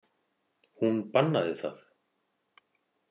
Hún bannaði það.